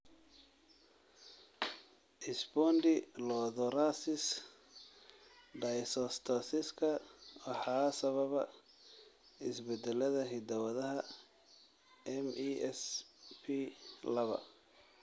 Spondylothoracic dysostosiska waxaa sababa isbeddellada hidda-wadaha MESP laba.